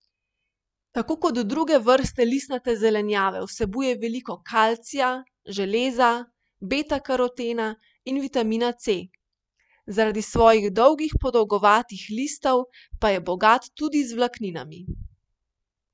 Tako kot druge vrste listnate zelenjave vsebuje veliko kalcija, železa, betakarotena in vitamina C, zaradi svojih dolgih podolgovatih listov pa je bogat tudi z vlakninami.